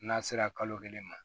N'a sera kalo kelen ma